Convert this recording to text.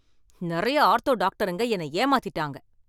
நிறைய ஆர்த்தோ டாக்டருங்க என்ன ஏமாத்திட்டாங்க